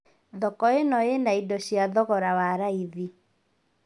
Thoko ĩno ĩna ĩndo cia thogora wa raĩthi